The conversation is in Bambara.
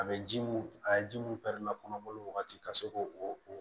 A bɛ ji mun a ye ji mun kɔnɔboli wagati ka se k'o o